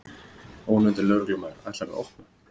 Ónefndur lögreglumaður: Ætlarðu að opna?